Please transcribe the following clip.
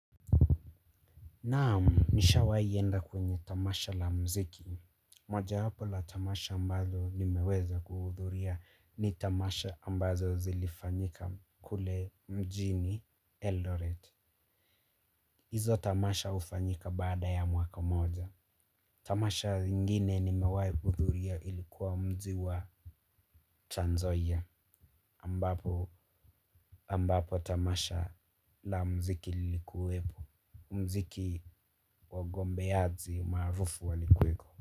Naamu nishawai enda kwenye tamasha la mziki. Moja wapo la tamasha ambalo nimeweza kuhudhuria ni tamasha ambazo zilifanyika kule mjini Eldoret. Izo tamasha ufanyika baada ya mwaka moja. Tamasha ingine nimewai hudhuria ilikuwa mji wa Tranzoia ambapo ambapo tamasha la mziki lilikuwepo. Mziki wagombeaji maarufu walikuweko.